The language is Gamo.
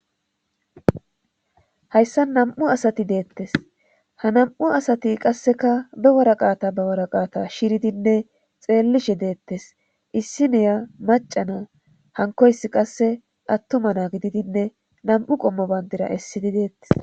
hayssan nam7u asati deettes ha nam7u asati qasseka be woraqata ba woraqata shiridinne xeellishe deettes issi niya macana hankoysi qasse attuma na gididinne nam7u qommo bayndira essidi deettes